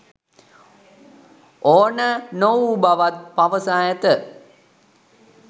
ඕන නොවූ බවත් පවසා ඇත